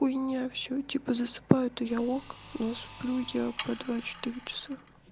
хуйня всё типа засыпаю то а я ок но сплю я по два четыре часа